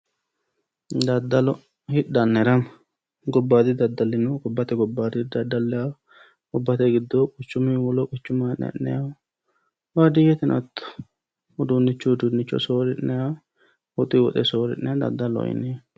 Daddallo, hidhanna hirama gobbate gobbanni daddalinitta gobbate giddoni quchumunni quchuma haa'ne ha'nannihu, baadiyyeteno uduunichunni uduunicho soori'nanniha daddalloho yinneemmo.